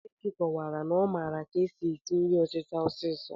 Kelechi kọwara na ọ maara ka e si si nri ọtịta sọọsọ